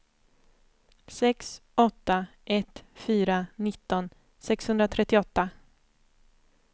sex åtta ett fyra nitton sexhundratrettioåtta